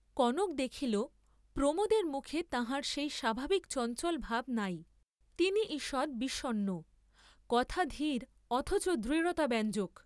কনক দেখিল প্রমোদের মুখে তাঁহার সেই স্বাভাবিক চঞ্চল ভাব নাই, তিনি ঈষৎ বিষণ্ণ, কথা ধীর অথচ দৃঢ়তাব্যঞ্জক।